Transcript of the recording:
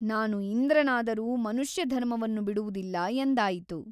ನಾನು ಇಂದ್ರನಾದರೂ ಮನುಷ್ಯ ಧರ್ಮವನ್ನು ಬಿಡುವುದಿಲ್ಲ ಎಂದಾಯಿತು.